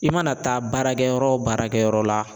I mana taa baarakɛyɔrɔ o baarakɛyɔrɔ la